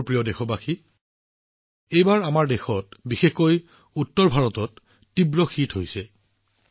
মোৰ মৰমৰ দেশবাসীসকল এইবাৰ আমাৰ দেশত বিশেষকৈ উত্তৰ ভাৰতত শীতৰ প্ৰকোপ তীব্ৰ হৈছিল